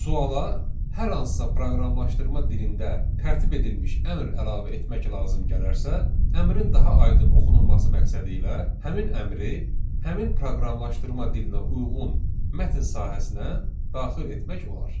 Suala hər hansısa proqramlaşdırma dilində tərtib edilmiş əmr əlavə etmək lazım gələrsə, əmrin daha aydın oxunulması məqsədilə həmin əmri həmin proqramlaşdırma dilinə uyğun mətn sahəsinə daxil etmək olar.